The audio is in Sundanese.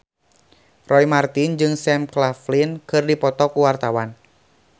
Roy Marten jeung Sam Claflin keur dipoto ku wartawan